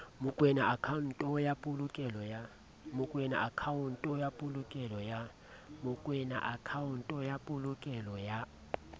mokoena akhaonto ya polokelo ya